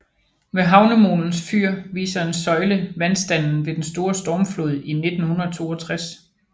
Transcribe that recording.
Ved havnemolens fyr viser en søjle vandstanden ved den store stormflod i 1962